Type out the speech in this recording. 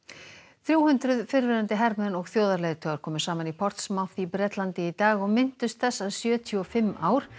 þrjú hundruð fyrrverandi hermenn og þjóðarleiðtogar komu saman í í Bretlandi í dag og minntust þess að sjötíu og fimm ár